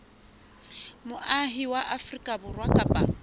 moahi wa afrika borwa kapa